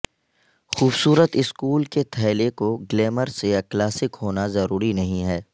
خوبصورت سکول کے تھیلے کو گلیمرس یا کلاسک ہونا ضروری نہیں ہے